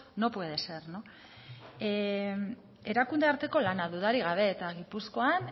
no puede ser erakunde arteko lana dudarik gabe eta gipuzkoan